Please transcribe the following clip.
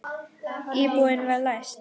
Íbúðin var læst.